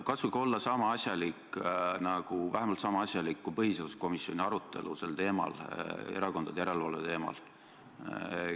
Katsuge olla vähemalt sama asjalik, kui oli põhiseaduskomisjoni arutelu sel teemal, erakondade järelevalve teemal.